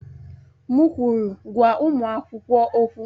M kwụrụ, gwa ụmụ akwụkwọ okwụ!